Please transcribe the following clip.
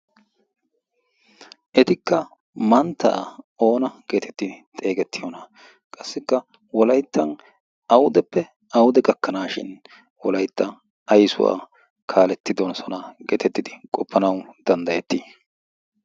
etikka manttaa oona geetettidi xeegettiyoona qassikka wolayttan audeppe aude gakkanaashin wolayttan ayssuwaa kaaletti donsonaa geetettidi qoppanawu danddayetti